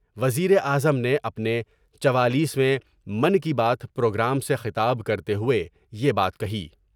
وزیراعظم نے اپنے چوالیس ویں من کی بات پروگرام سے خطاب کر تے ہوئے یہ بات کہی ۔